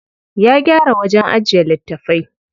Ya gyara wajen ajiye littafai.